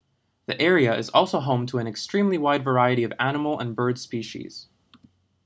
the area is also home to an extremely wide variety of animal and bird species